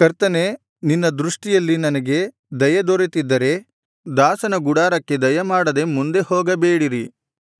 ಕರ್ತನೇ ನಿನ್ನ ದೃಷ್ಟಿಯಲ್ಲಿ ನನಗೆ ದಯೆ ದೊರೆತಿದ್ದರೆ ದಾಸನ ಗುಡಾರಕ್ಕೆ ದಯಮಾಡದೆ ಮುಂದೆ ಹೋಗಬೇಡಿರಿ